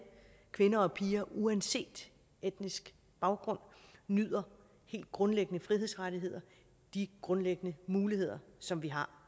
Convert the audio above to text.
kvinder og piger uanset etnisk baggrund nyder helt grundlæggende frihedsrettigheder de grundlæggende muligheder som vi har